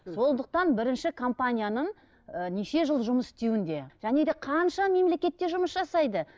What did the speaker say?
сондықтан бірінші компанияның неше жыл жұмыс істеуінде және де қанша мемлекетте жұмыс жасайды